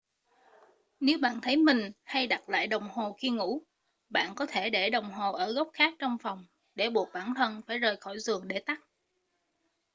nếu bạn thấy mình hay đặt lại đồng hồ khi ngủ bạn có thể để đồng hồ ở góc khác trong phòng để buộc bản thân phải rời khỏi giường để tắt